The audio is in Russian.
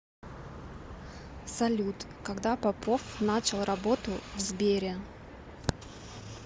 салют когда попов начал работу в сбере